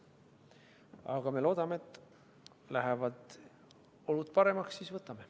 Aga me loodame, et kui lähevad olud paremaks, siis võtame.